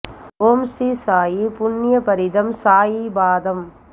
ஓம் ஸ்ரீ சாயி புண்ய பரிதம் சாயி பாதம்